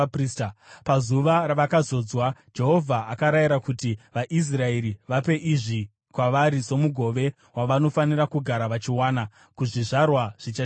Pazuva ravakazodzwa, Jehovha akarayira kuti vaIsraeri vape izvi kwavari somugove wavanofanira kugara vachiwana kuzvizvarwa zvichatevera.